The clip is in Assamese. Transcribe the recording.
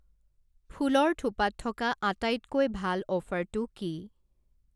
ফুলৰ থোপাত থকা আটাইতকৈ ভাল অফাৰটো কি?